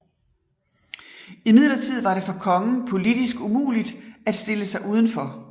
Imidlertid var det for kongen politisk umuligt at stille sig uden for